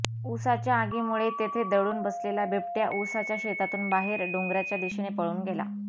उसाच्या आगीमुळे तेथे दडून बसलेला बिबट्या उसाच्या शेतातून बाहेर डोंगराच्या दिशेने पळून गेला